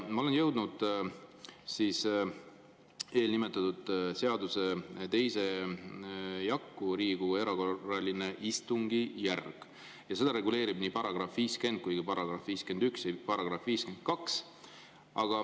Ma olen jõudnud eelnimetatud seaduse 2. jakku, "Riigikogu erakorraline istungjärk", ja seda reguleerivad nii § 50, § 51 kui ka § 52.